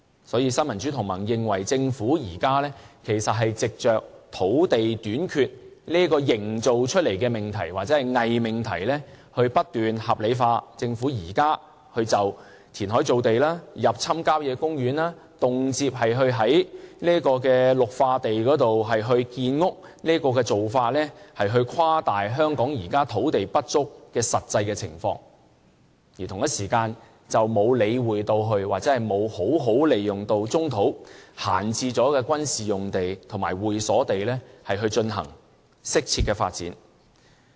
所以，新民主同盟認為，政府現時是藉着土地短缺營造出來的命題或偽命題來不斷將政府現時填海造地、入侵郊野公園、動輒在綠化地建屋的做法合理化，誇大香港現時土地不足的實際情況，而同一時間，卻沒有理會或好好地利用棕土、閒置的軍事用地和會所地，進行適切的發展。